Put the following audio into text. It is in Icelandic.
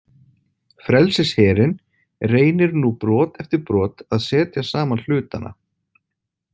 Frelsisherinn reynir nú brot eftir brot að setja saman hlutana.